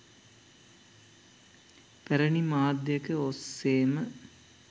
පැරණි මාධ්‍යයක ඔස්සේම